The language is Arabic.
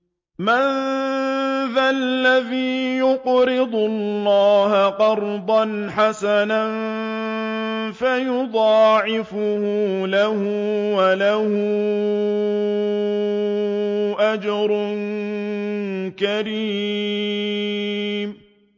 مَّن ذَا الَّذِي يُقْرِضُ اللَّهَ قَرْضًا حَسَنًا فَيُضَاعِفَهُ لَهُ وَلَهُ أَجْرٌ كَرِيمٌ